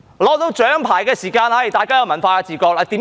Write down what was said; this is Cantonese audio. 得到獎牌時，大家便有文化自覺，為甚麼？